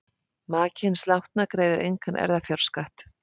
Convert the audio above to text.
Maki hins látna greiðir engan erfðafjárskatt.